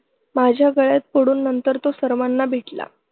माझ्या गळ्यात पडून नंतर तो सर्वांना भेटला.